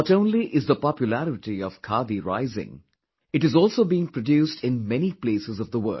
Not only is the popularity of khadi rising it is also being produced in many places of the world